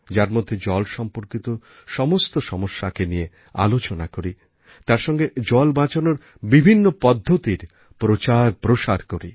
যার মধ্যে জল সম্পর্কিত সমস্ত সমস্যাকে নিয়ে আলোচনা করি তার সঙ্গে জল বাঁচানোর বিভিন্ন পদ্ধতির প্রচারপ্রসার করি